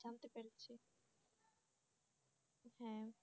হ্যাঁ।